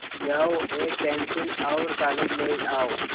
जाओ एक पेन्सिल और कागज़ ले आओ